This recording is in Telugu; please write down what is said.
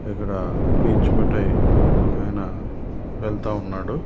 ఇక్కడ పీచు మిఠాయి ఉంటాయి ఓకేనా వెళ్తా ఉన్నాడు.